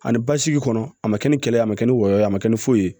Ani basigi kɔnɔ a ma kɛ ni kɛlɛ ye a ma kɛ ni wɔyɔ ye a bɛ kɛ ni foyi ye